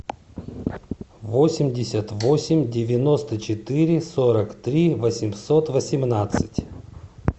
восемьдесят восемь девяносто четыре сорок три восемьсот восемнадцать